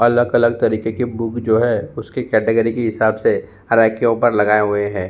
अलग-अलग तरीके के बुक जो है उसके कैटेगरी के हिसाब से हर रैक के ऊपर लगाए हुए हैं।